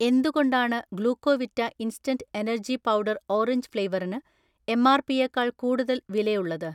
എന്തുകൊണ്ടാണ് Glucovita instant energy powder orange ഫ്ലേവറിന് എം.ആർ.പിയെക്കാൾ കൂടുതൽ വിലയുള്ളത്?